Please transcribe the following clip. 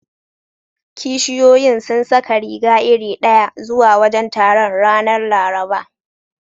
Kishiyoyin sun saka riga iri ɗaya zuwa wajen taron, ranar Laraba.